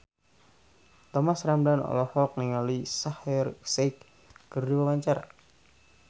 Thomas Ramdhan olohok ningali Shaheer Sheikh keur diwawancara